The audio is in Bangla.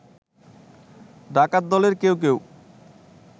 ডাকাত দলের কেউ কেউ